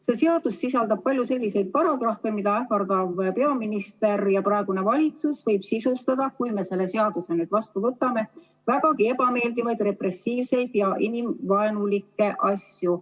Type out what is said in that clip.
See seadus sisaldab palju selliseid paragrahve, mida ähvardav peaminister ja praegune valitsus võib sisustada nii, kui me selle seaduse vastu võtame, et vägagi ebameeldivaid repressiivseid ja inimvaenulikke asju.